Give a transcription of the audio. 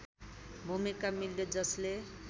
भूमिका मिल्यो जसले